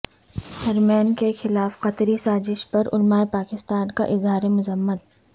حرمین کیخلاف قطری سازش پر علمائے پاکستان کا اظہار مذمت